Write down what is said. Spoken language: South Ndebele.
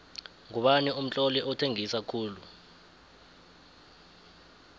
ngubani umtloli othengisa khulu